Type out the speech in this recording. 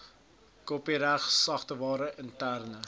kopiereg sagteware interne